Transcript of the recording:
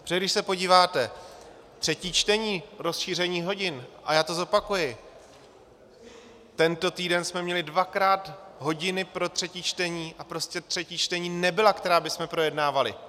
Protože když se podíváte, třetí čtení - rozšíření hodin - a já to zopakuji, tento týden jsme měli dvakrát hodiny pro třetí čtení a prostě třetí čtení nebyla, která bychom projednávali.